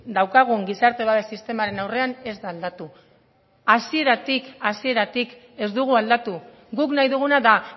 daukagun gizarte babes sistemaren aurrean ez da aldatu hasieratik ez dugu aldatu guk nahi duguna da